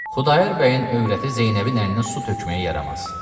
Xudayar bəyin övrəti Zeynəbin əlinə su tökməyə yaramaz.